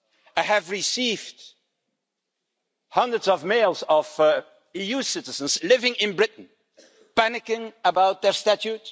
I have received hundreds of mails of EU citizens living in Britain panicking about their status.